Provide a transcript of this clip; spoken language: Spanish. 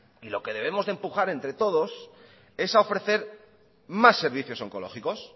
y lo que debemos empujar entre todos es ofrecer más servicios oncológicos